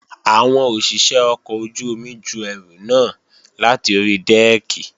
Àwọn òṣìṣé ọkọ̀ ojú-omi ju ẹrù náà láti ori dẹ́ẹ̀kì